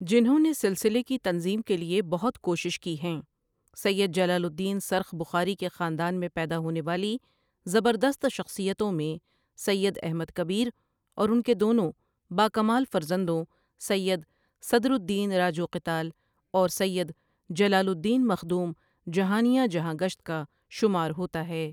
جنہوں نے سلسلے کی تنظیم کے لیے بہت کوشش کی ہیں سید جلال الدین سرخ بخاری کے خاندان میں پیدا ہونے والی زبردست شخصیتوں میں سید احمد کبیر اور ان کے دونوں با کمال فرزندوں سید صدرالدین راجو قتال اور سید جلال الدین مخدوم جہانیاں جہاں گشت کا شمار ہوتا ہے ۔